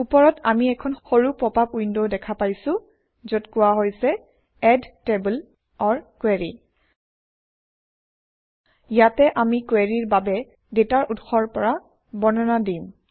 ওপৰত আমি এখন সৰু পপআপ উইণ্ডও দেখা পাইছোঁ যত কোৱা হৈছে এড টেবল অৰ কোৰী ইয়াতে আমি কুৱেৰিৰ বাবে ডাটাৰ উৎস ৰ পৰা বৰ্ণনা দিম